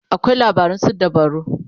akwai labaran suddabaru